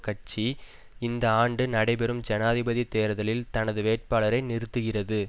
கட்சி இந்த ஆண்டு நடைபெறும் ஜனாதிபதி தேர்தலில் தனது வேட்பாளரை நிறுத்துகிறது